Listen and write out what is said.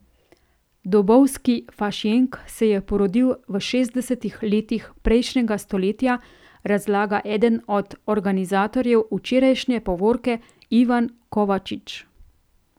Dobovski Fašjenk se je porodil v šestdesetih letih prejšnjega stoletja, razlaga eden od organizatorjev včerajšnje povorke Ivan Kovačič.